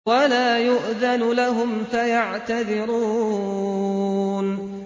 وَلَا يُؤْذَنُ لَهُمْ فَيَعْتَذِرُونَ